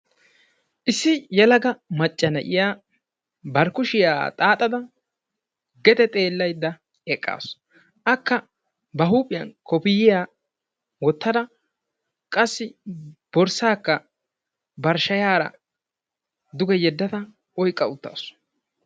Issi yelaga macca na'iya ba kushiya xaaxada gede xeellaydda eqqaasu. Akka ba huuphiyan koppiyyiya wottada qassi borssaakka bari shayaara duge yeddada oyqqa uttaasu.